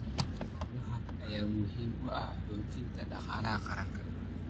Xoolahan ayaa muhiim u ah xoojinta dhaqaalaha qaranka.